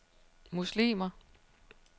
muslimer